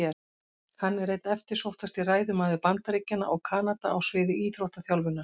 Hann er einn eftirsóttasti ræðumaður Bandaríkjanna og Kanada á sviði íþróttaþjálfunar.